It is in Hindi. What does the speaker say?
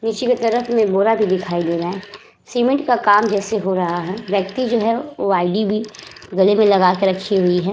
नीचे की तरफ में बोरा भी दिखाई दे रहा है। सीमेंट का काम जैसे हो रहा है। व्यक्ति जो है गले में लगा कर रखी हुई है।